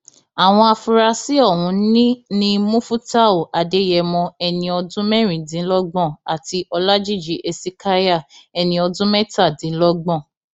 àwọn afurasí ọhún ní ni mufútàù adéyẹmọ ẹni ọdún mẹrìndínlọgbọn àti ọlajìji hesekiah ẹni ọdún mẹtàdínlọgbọn